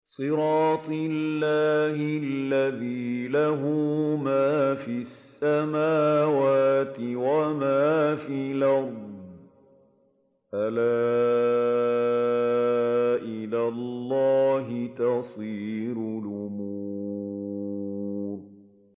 صِرَاطِ اللَّهِ الَّذِي لَهُ مَا فِي السَّمَاوَاتِ وَمَا فِي الْأَرْضِ ۗ أَلَا إِلَى اللَّهِ تَصِيرُ الْأُمُورُ